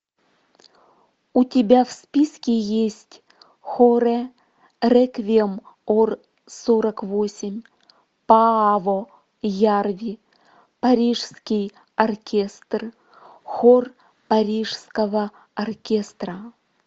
у тебя в списке есть хоре реквием ор сорок восемь пааво ярви парижский оркестр хор парижского оркестра